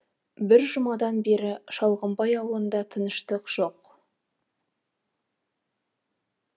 бір жұмадан бері шалғымбай ауылында тыныштық жоқ